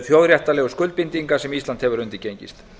þjóðréttarlegu skuldbindinga sem ísland hefur undirgengist